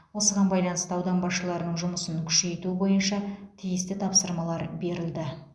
осыған байланысты аудан басшыларының жұмысын күшейту бойынша тиісті тапсырмалар берілді